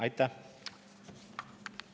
Aitäh!